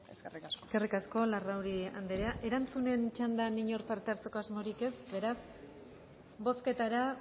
eskerrik asko eskerrik asko larrauri andrea erantzunen txandan inor parte hartzeko asmorik ez beraz bozketara